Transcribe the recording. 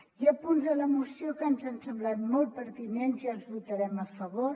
hi ha punts de la moció que ens han semblat molt pertinents i els votarem a favor